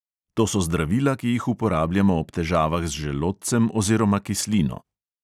To so zdravila, ki jih uporabljamo ob težavah z želodcem oziroma kislino.